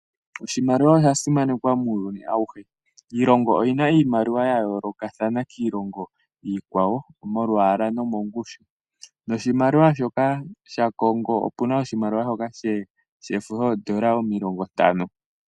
Oshimaliwa osha simanekwa muuyuni awuhe, iilongo oyina iimaliwa ya yoolokathana kiilongo iikwawo mo lwaala monongushu noshimaliwa shoka sha kongo opuna oshimaliwa shoka shefo shoodola omilingo ntano.